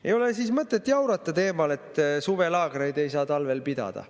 Ei ole mõtet jaurata teemal, et suvelaagreid ei saa talvel pidada.